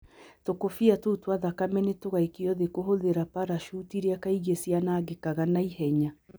Tũkũbia tũu twa thakame nĩ tũgaikio thĩ kũhũthĩra parachuti iria kaingĩ cianangĩkaga na ihenya.